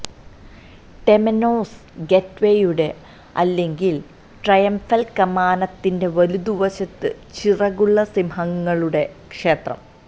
temenos ഗേറ്റ്വേയുടെ അല്ലെങ്കിൽ triumphal കമാനത്തിന്റെ വലതുവശത്ത് ചിറകുള്ള സിംഹങ്ങളുടെ ക്ഷേത്രം